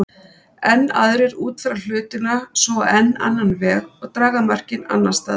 Enn aðrir útfæra hlutina svo á enn annan veg og draga mörkin annars staðar.